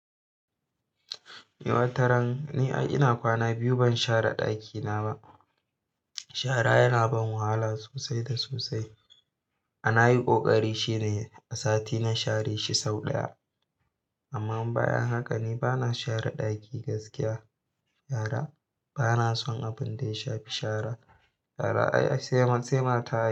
Eh, wataran ni ai ina kwana biyu ban share ɗakina ba. Shara yana ban wahala sosai da sosai. A nayi ƙoƙari shine a sati na share shi sau ɗaya. Amma in bayan haka ne bana share ɗaki gaskiya. Yara bana son abun da ya shafi shara. Shara ai, ai sai ma sai mata ai.